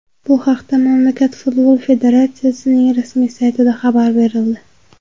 Bu haqda mamlakat futbol konfederatsiyasining rasmiy saytida xabar berildi .